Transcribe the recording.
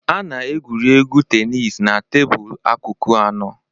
A na-egwuri egwu tenis na tebụl akụkụ anọ.